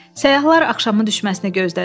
Səyyahlar axşamın düşməsini gözlədilər.